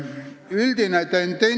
Kolm minutit juurde.